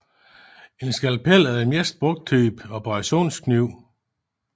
En skalpel er den mest brugte type operationskniv